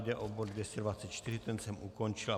Jde o bod 224, ten jsem ukončil.